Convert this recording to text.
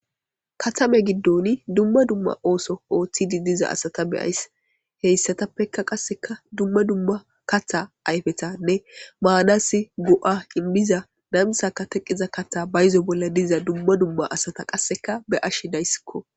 Katame giddoni dumma dumma ooso ooththidi diza asata beyayss heyssatappeka qasseka dumma dumma katha ayfetanne maanasi do'a inmiza namisaka teqiza katha bayzo bolla diza dumma dumma asata qasseka be ash dayssikko.